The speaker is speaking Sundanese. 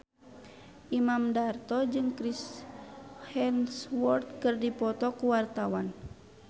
Imam Darto jeung Chris Hemsworth keur dipoto ku wartawan